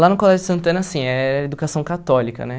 Lá no Colégio Santana, sim, era educação católica, né?